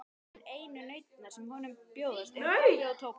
En einu nautnirnar sem honum bjóðast eru kaffi og tóbak.